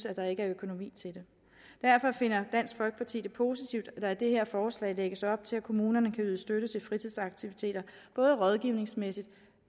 at der ikke er økonomi til det derfor finder dansk folkeparti det positivt at det her forslag lægges op til at kommunerne kan yde støtte til fritidsaktiviteter både rådgivningsmæssigt